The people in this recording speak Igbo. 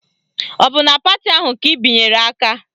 Ọ bụ na pati ahụ ka ị binyere aka?